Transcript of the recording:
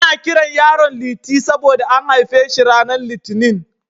Ana kiran yaron Liti saboda an haife shi ranar Litinin.